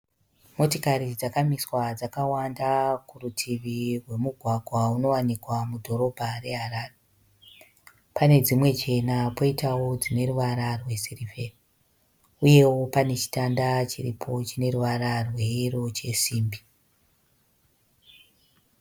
Motikari dzakamiswa dzakawanda kurutivi rwemugwagwa unowanikwa mudhorobha reHarare. Pane dzimwe chena poitawo dzine ruvara rwesirivheri uyewo pane chitanda chiripo chine ruvara rweyero chesimbi.